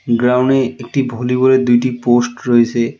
গ্রাউনে একটি ভলিবলের দুটি পোস্ট রইছে.